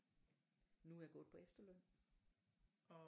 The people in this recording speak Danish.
Nu er jeg gået på efterløn